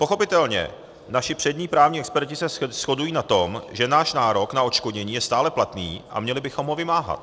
Pochopitelně, naši přední právní experti se shodují na tom, že náš nárok na odškodnění je stále platný a měli bychom ho vymáhat.